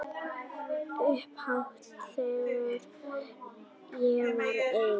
Upphátt þegar ég var ein.